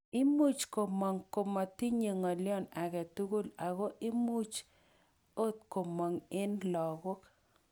Imuch komong' komotinye ng'oyon agetukul oko imuch ot komong' en logok.